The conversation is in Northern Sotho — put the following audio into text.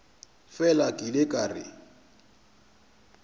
fela ke ile ka re